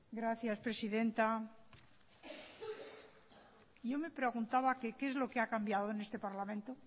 gracias presidenta yo me preguntaba que qué es lo que ha cambiado en este parlamento